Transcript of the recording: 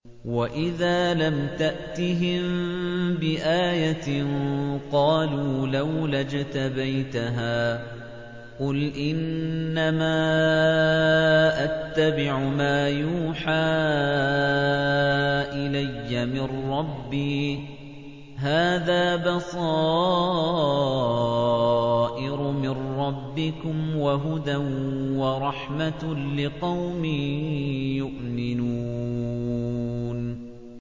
وَإِذَا لَمْ تَأْتِهِم بِآيَةٍ قَالُوا لَوْلَا اجْتَبَيْتَهَا ۚ قُلْ إِنَّمَا أَتَّبِعُ مَا يُوحَىٰ إِلَيَّ مِن رَّبِّي ۚ هَٰذَا بَصَائِرُ مِن رَّبِّكُمْ وَهُدًى وَرَحْمَةٌ لِّقَوْمٍ يُؤْمِنُونَ